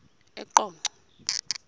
eqonco